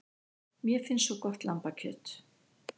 Mér finnst svo gott lambakjöt.